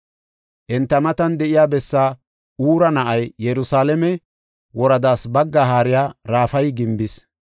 Enta matan de7iya bessaa Huura na7ay, Yerusalaame woradaas baggaa haariya Rafayi gimbis.